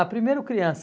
Ah, primeiro criança.